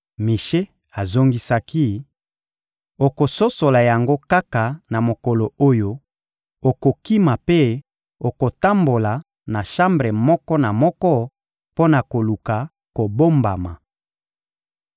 Mishe azongisaki: — Okososola yango kaka na mokolo oyo okokima mpe okotambola na shambre moko na moko mpo na koluka kobombama.